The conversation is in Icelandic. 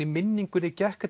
í minningunni gekk